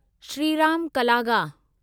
Shriram Kalaga